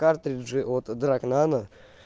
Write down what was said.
картриджи от драг нано